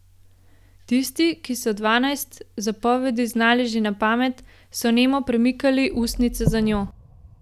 Tisti, ki so dvanajst zapovedi znali že na pamet, so nemo premikali ustnice za njo.